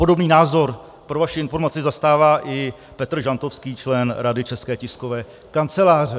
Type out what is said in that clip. Podobný názor pro vaši informaci zastává i Petr Žantovský, člen Rady České tiskové kanceláře.